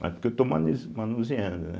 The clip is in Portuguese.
Mas porque eu estou manu manuseando, né?